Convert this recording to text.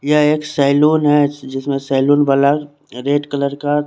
यहा एक सेलून है जिसमे सेलून वाला रेड कलर का--